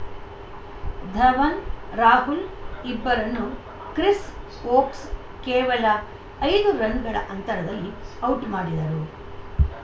ಧವನ್‌ ರಾಹುಲ್‌ ಇಬ್ಬರನ್ನೂ Chris Woakes ಕೇವಲ ಐದು ರನ್‌ಗಳ ಅಂತರದಲ್ಲಿ ಔಟ್‌ ಮಾಡಿದರು